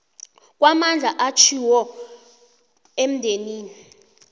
kwamandla atjhiwo endimeni